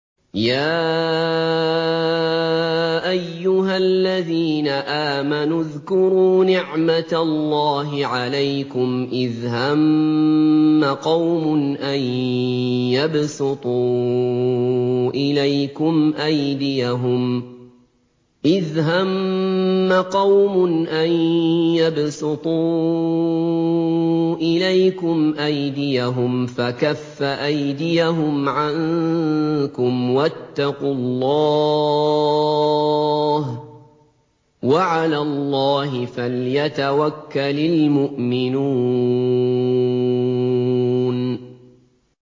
يَا أَيُّهَا الَّذِينَ آمَنُوا اذْكُرُوا نِعْمَتَ اللَّهِ عَلَيْكُمْ إِذْ هَمَّ قَوْمٌ أَن يَبْسُطُوا إِلَيْكُمْ أَيْدِيَهُمْ فَكَفَّ أَيْدِيَهُمْ عَنكُمْ ۖ وَاتَّقُوا اللَّهَ ۚ وَعَلَى اللَّهِ فَلْيَتَوَكَّلِ الْمُؤْمِنُونَ